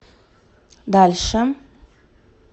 дальше